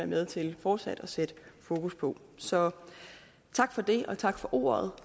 med til fortsat at sætte fokus på så tak for det og tak for ordet